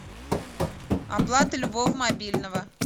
оплата любого мобильного